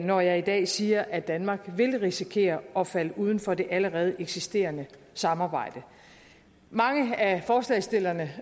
når jeg i dag siger at danmark vil risikere at falde uden for det allerede eksisterende samarbejde mange af forslagsstillerne